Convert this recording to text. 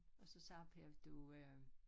Og så siger Per du øh